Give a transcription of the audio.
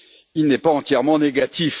Il n'est pas entièrement négatif.